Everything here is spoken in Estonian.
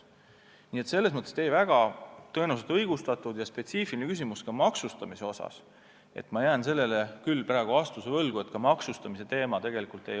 Teie küsimus maksustamise kohta on tõenäoliselt õigustatud, aga see on väga spetsiifiline ja ma jään sellele praegu küll vastuse võlgu.